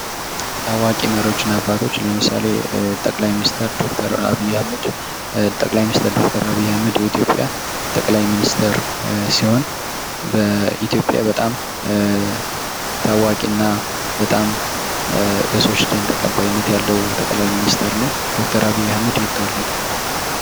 ታዋቂ መሪዎችና አባቶች ለምሳሌ ጠቅላይ ሚኒስቴር ዶክተር አብይ አህመድ የኢትዮጵያ ጠቅላይ ሚኒስቴር ሲሆን በኢትዮጵያ በጣም ታዋቂ እና በጣም በሰወች ዘንድ ተቀባይነት ያለው ጠቅላይ ሚኒስተር ነው ። ዶክተር አብይ አህመድ የት ተወለደ?